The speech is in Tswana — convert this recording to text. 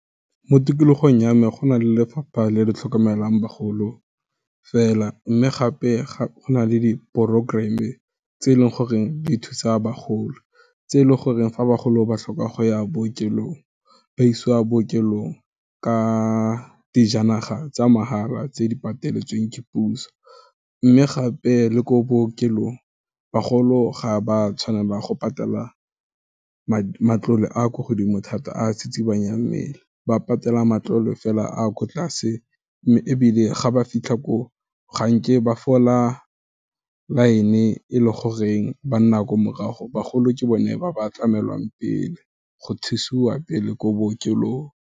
Mo tikologong ya me, go na le lefapha le le tlhokomelang bagolo fela, mme gape go na le di-programm-e, e tse e leng goreng di thusa bagolo, tse e leng goreng fa bagolo ba tlhoka go ya bookelong, ba isiwa ko bookelong, ka dijanaga tsa mahala tse di pataletseng ke puso, mme gape, le ko bookelong, bagolo ga ba tshwanela ba go patela matlole a ko godimo thata a tsitsibanyang mmele, ba patela matlole fela a ko tlase, mme ebile ga ba fitlha ko, ga nke ba fola line-e, e leng goreng banna ko morago, bagolo ke bone ba ba tlamelwang pele, go thusiwa pele ko bookelong.